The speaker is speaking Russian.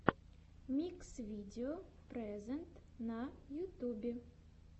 микс видео прэзэнт на ютюбе